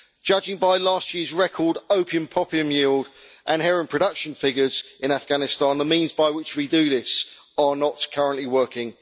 Judging by last year's record opium poppy yield and heroin production figures in Afghanistan, the means by which we do this are not currently working.